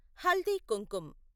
haldi Kumkum